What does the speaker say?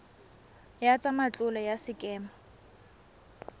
ya tsa matlole ya sekema